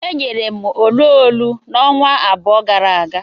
E nyere m olu olu ọnwa abụọ gara aga.